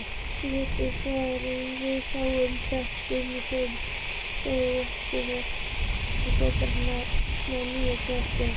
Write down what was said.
Léttir þegar við sjáum þvöguna í skólaportinu, foreldrar með nýgræðinga.